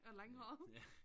Og langhåret